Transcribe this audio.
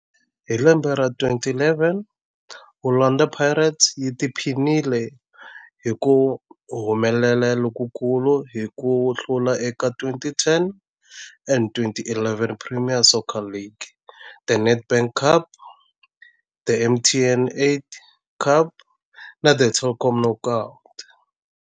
Hi lembe ra 2011, Orlando Pirates yi tiphinile hi ku humelela lokukulu hi ku hlula eka 2010 and 11 Premier Soccer League, The Nedbank Cup, The MTN 8 Cup na The Telkom Knockout.